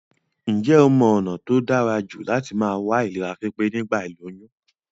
Njé o mo ònà t tóí dárajù láti ma wà ní ìlera pípé nígbà ìlóyún?